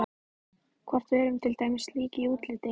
Hvort við erum til dæmis lík í útliti.